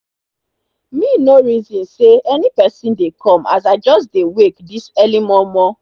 me nor reson say any pesin dey come as i just dey wake this early momo